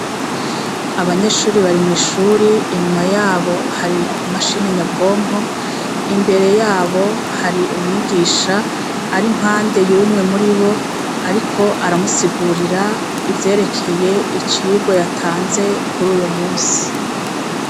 Abanyeshure bari mw’ishure , inyuma yabo hari imashini yabwonko, imbere yabo hari umwugisha ar’impande yumwe muribo ariko aramusigurira ivyerekeye icigwa yatanze kuruyo musi.